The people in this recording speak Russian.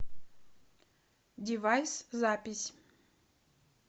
девайс запись